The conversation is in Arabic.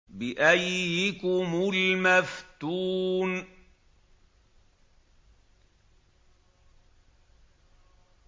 بِأَييِّكُمُ الْمَفْتُونُ